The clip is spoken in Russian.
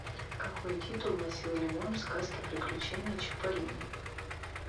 какой титул носил лимон в сказке приключения чиполлино